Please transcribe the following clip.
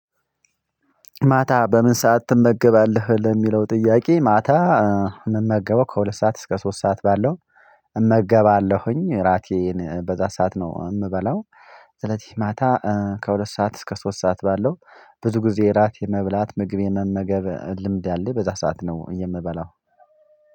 ማታ በምን ሰዓት ትመገባለህ ለሚለው ጥያቄ? ማታ እምመገበው ከሁለት ሰዓት እስከ ሶስት ሰዓት ባለው እመገባለሁኝ እራቴን በዛ ሰዓት ነው የምበላው። ስለዚህ ማታ ከሁለት ሰዓት እስከ ሶስት ሰዓት ባለው ብዙ ጊዜ እራት የመብላት ምግብ የመመገብ ልምድ ያለኝ በዛ ሰዓት ነው የምበላው።